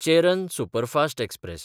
Cheran superfast express